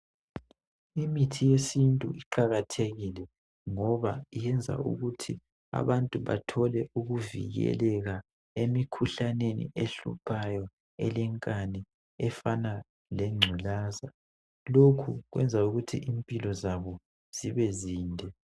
Imithi yesintu iqakathekile ngoba iyenza ukuthi abantu bathole ukuvikeleka emikhuhlaneni, ehluphayo, elenkani efana lengculaza. Lokhu kuyenzelwa ukuthi impilo zabo zibe zinde.